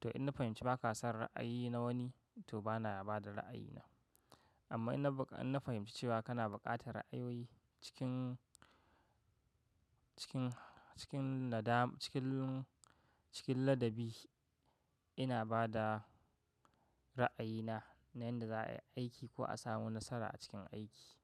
To in na fahimci ba ka son ra'ayi na wani to bana bada ra'ayi na. Amma in na fahimci cewa kana buƙatan ra'ayoyi cikin, cikin nadam, cikin, cikin ladabi ina bada ra'ayi na na yanda za a yi aiki ko a samu nasara a cikin aiki.